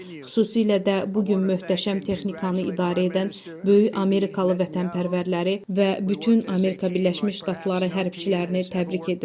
Xüsusilə də bu gün möhtəşəm texnikanı idarə edən böyük Amerikalı vətənpərvərləri və bütün Amerika Birləşmiş Ştatları hərbçilərini təbrik edirəm.